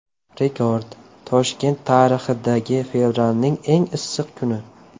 Rekord: Toshkent tarixidagi fevralning eng issiq kuni.